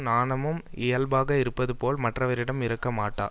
நாணமும் இயல்பாக இருப்பது போல் மற்றவரிடம் இருக்கமாட்டா